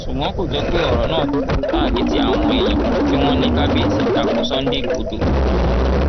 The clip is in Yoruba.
ṣùgbọn kò jọ pé ọrọ náà ta létí àwọn èèyàn tí wọn ní kábíyèsí ta ko sunday igbodò